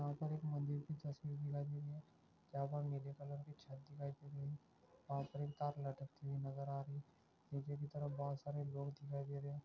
यहा पर एक मंदिर की तस्वीर दिखाई दे रही हे जहा पर एक नीले कलर की छत दिखाई दे रही हे वाहा पर एक तार लटकती हुई दिखाई दे रही हे नीचे की तरफ बहोत सारे लोग दिखाई दे रहे हे|